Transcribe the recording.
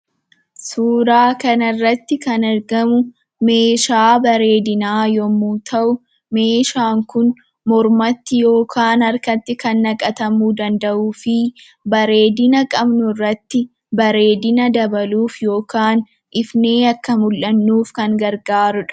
Suuraa kanarratti kan argamu meeshaa bareedinaa yommuu ta'u meeshaan kun mormatti yookaan harkatti kan naqatamuu kan danda'uu fi bareedina qabnurratti bareedina dabaluuf yookaan ifnee akka mul'annuuf kan gargaarudha.